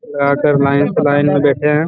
यहाँ पर लाइन के लाइन बैठे है।